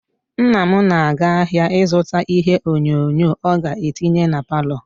Nna m na-aga ahịa ịzụta ihe onyonyo ọ ga-etinye na palọ.